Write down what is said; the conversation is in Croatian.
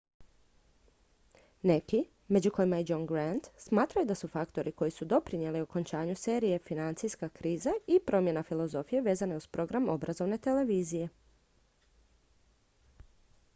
neki među kojima i john grant smatraju da su faktori koji su doprinijeli okončanju serije financijska kriza i promjena filozofije vezane uz program obrazovne televizije